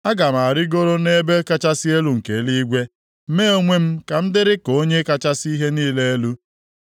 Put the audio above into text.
Aga m arịgo nʼebe kachasị elu nke eluigwe, mee onwe m ka m dịrị ka Onye kachasị ihe niile elu.”